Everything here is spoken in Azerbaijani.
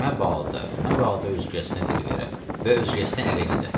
məbadə, məbadə özgəsinə dil verə və özgəsinə ərə gedə.